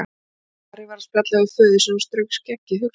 Ari var að spjalla við föður sinn og strauk skeggið hugsi.